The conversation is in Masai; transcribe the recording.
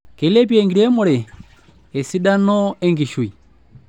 Keilepei enkiremore esidano enkishui.